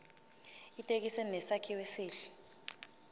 ithekisi inesakhiwo esihle